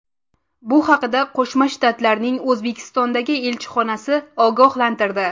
Bu haqda Qo‘shma Shtatlarning O‘zbekistondagi elchixonasi ogohlantirdi .